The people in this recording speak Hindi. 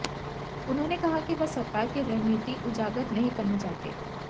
उन्होंने कहा कि वह सरकार की रणनीति उजागर नहीं करना चाहते